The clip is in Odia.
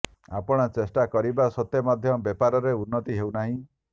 ଆପଣ ଚେଷ୍ଟା କରିବା ସତ୍ତ୍ବେ ମଧ୍ୟ ବେପାରରେ ଉନ୍ନତି ହେଉନାହିଁ